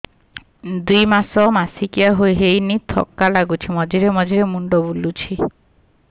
ଦୁଇ ମାସ ମାସିକିଆ ହେଇନି ଥକା ଲାଗୁଚି ମଝିରେ ମଝିରେ ମୁଣ୍ଡ ବୁଲୁଛି